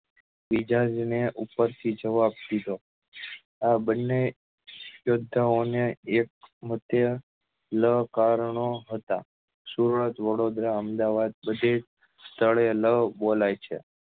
વિચારી ને ઉપર થી જવાબ દીધો આ બન્ને યોધા ઓ ને એક મધ્ય લ કારણો હતા સુરત વડોદરા અમદાવાદ બધે સ્થળે લ બોલાય છે